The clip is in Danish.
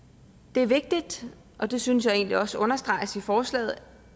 det er vigtigt og det synes jeg egentlig også understreges i forslaget